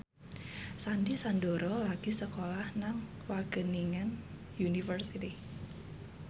Sandy Sandoro lagi sekolah nang Wageningen University